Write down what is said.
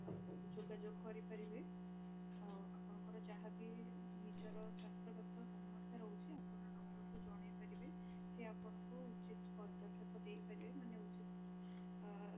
ଯୋଗା ଯୋଗ କରି ପାରିବେ ଆଉ ଆପଣଙ୍କର ଯାହା ବି ନିଜର ସ୍ୱାସ୍ଥ୍ୟ ଗତ ସମସ୍ୟା ରହୁଛି ଆପଣ doctor କୁ ଜଣାଇ ପାରିବେ ସିଏ ଆପଣଙ୍କୁ ଉଚିତ ପଦକ୍ଷପ ଦେଇ ପାରିବେ ମାନେ ଉତିତ ଆ